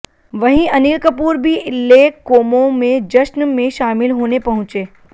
वहीं अनिल कपूर भी lake Como में जश्न में शामिल होने पहुंचे